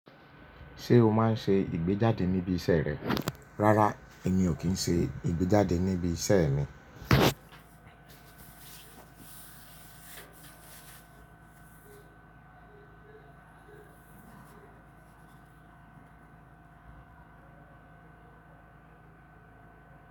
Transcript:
Ṣé o máa ń ṣe ìgbéjáde níbi iṣẹ́ rẹ? Rárá, èmi ò kí ń ṣe ìgbéjáde níbi iṣẹ́ mi.